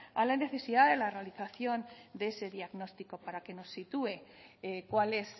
al necesidad e la realización de ese diagnóstico para que nos sitúe cuál es